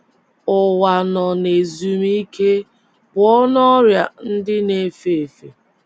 Ụwa nọ ‘ n’ezumike ’ pụọ n’ọrịa um ndị um na - efe efe.